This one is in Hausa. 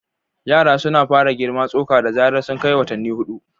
Yara suna fara girma tsoka da zarar sun kai watanni huɗu.